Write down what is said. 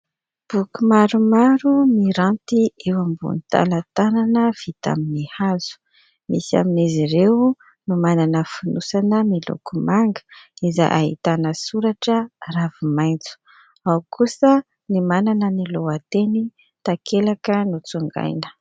Boky maromaro miranty eo ambony talatalana vita amin'ny hazo. Misy amin'izy ireo no manana fonosana miloko manga, izay ahitana soratra ravimaintso ; ao kosa ny manana ny lohateny takelaka notsongaina.